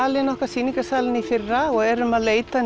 sýningarsalinn okkar í fyrra og erum að leita